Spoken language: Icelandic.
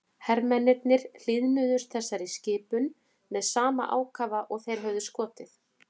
Hermennirnir hlýðnuðust þessari skipun með sama ákafa og þeir höfðu skotið.